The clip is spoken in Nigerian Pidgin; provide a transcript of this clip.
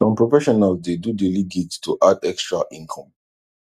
some professionals dey do daily gigs to add extra income